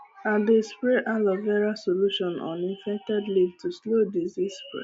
i dey spray aloe vera solution on infected leaves to slow disease